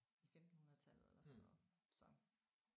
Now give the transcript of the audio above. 1500-tallet eller sådan noget så